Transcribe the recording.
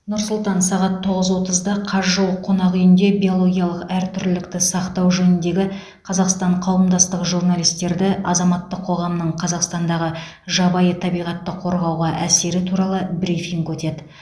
нұр сұлтан сағат тоғыз отызда казжол қонақ үйінде биологиялық әртүрлілікті сақтау жөніндегі қазақстан қауымдастығы журналистерді азаматтық қоғамның қазақстандағы жабайы табиғатты қорғауға әсері туралы брифинг өтеді